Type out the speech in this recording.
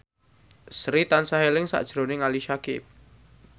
Sri tansah eling sakjroning Ali Syakieb